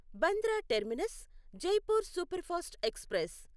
Bandra terminus Jaipur superfast express